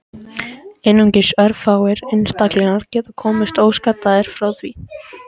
Einungis örfáir einstaklingar geti komist óskaddaðir frá því.